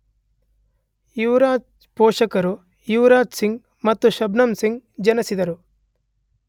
ಯುವರಾಜ್ ಪೋಷಕರು ಯೋಗರಾಜ್ ಸಿಂಗ್ ಮತ್ತು ಶಬ್ನಮ್ ಸಿಂಗ್ ಜನಿಸಿದರು.